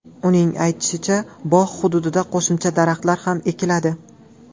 Uning aytishicha, bog‘ hududiga qo‘shimcha daraxtlar ham ekiladi.